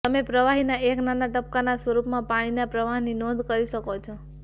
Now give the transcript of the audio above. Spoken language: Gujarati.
તમે પ્રવાહીના એક નાના ટપકાંના સ્વરૂપમાં પાણીના પ્રવાહની નોંધ કરી શકો છો